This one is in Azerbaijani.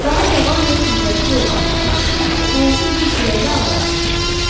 Daha cavan və qüvvətli olan iki kişi hərəsi iki kürəklə avar çəkirdi.